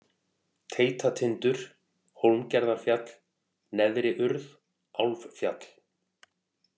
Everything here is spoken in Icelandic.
Teitatindur, Hólmgerðarfjall, Neðri-Urð, Álffjall